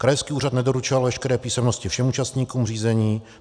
Krajský úřad nedoručil veškeré písemnosti všem účastníkům řízení.